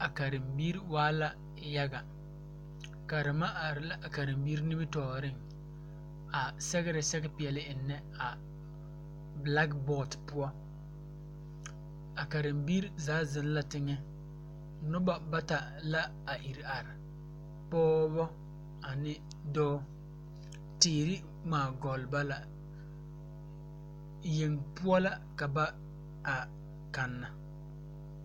A karembiire waa la yaga karema are la a karembiire nimitooreŋ a sɛgrɛ sɛge peɛle eŋnɛ a blakbɔɔd poɔ a karembiire zaa zeŋ la teŋɛ nobɔ bata la a ire are pɔɔbɔ ane dɔɔ teere ngmaa gɔlle ba la yeŋ poɔ la ka ba a kanna.